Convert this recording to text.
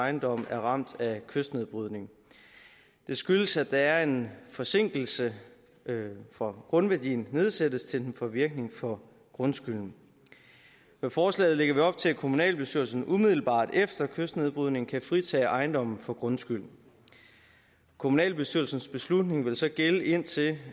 ejendomme er ramt af kystnedbrydning det skyldes at der er en forsinkelse fra grundværdiens nedsættelse til den får virkning for grundskylden med forslaget lægger vi op til at kommunalbestyrelsen umiddelbart efter kystnedbrydningen kan fritage ejendommen for grundskylden kommunalbestyrelsens beslutning vil så gælde indtil